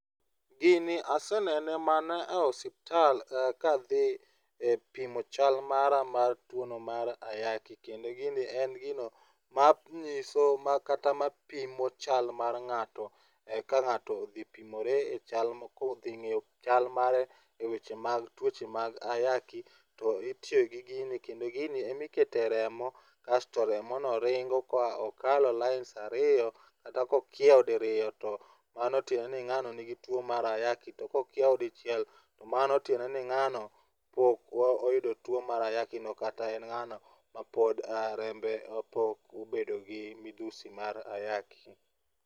Gini asenene mana e osiptal kadhi e pimo chal mara mar tuwono mar ayaki, kendo gini en gino manyiso kata ma pimo chal mar ng'ato ka ng'ato odhi pimore kodhi ng'eyo chal mare e weche mag tuoche mag ayaki to itiyo gi gini kendo gini emikete remo kasto remono ringo ka okalo lines ariyo kata kokiewo diriyo, tp mano tiende ni ng'ano nigi tuwo mar ayaki, to kokiewo dichiel to mano tiende ni ng'ano pok oyudo tuwo mar ayakino kata en ng'ano ma pod rembe pok obedo gi midhusi mar ayaki.